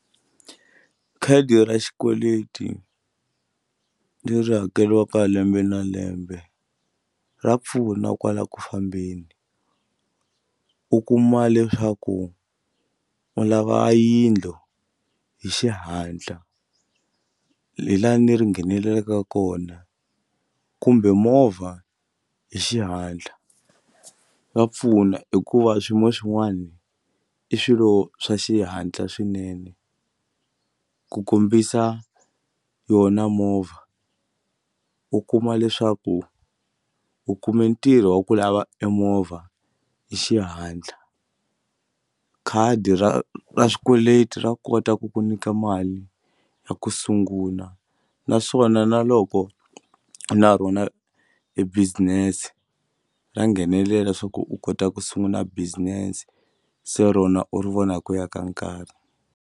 Khadi ra xikweleti leri hakeriwaka lembe na lembe ra pfuna kwala ku fambeni u kuma leswaku u lava yindlu hi xihatla hi lani ri nghenelelaka kona kumbe movha hi xihatla swa pfuna hikuva swiyimo swin'wani i swilo swa xihatla swinene ku kombisa yona movha u kuma leswaku u kume ntirho wa ku lava emovha hi xihatla khadi ra ra swikweleti ra kota ku ku nyika mali ya ku sungula naswona na loko na rona e business ra nghenelela swa ku u kota ku sungula business se rona u ri vona hi ku ya ka nkarhi.